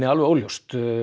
alveg óljóst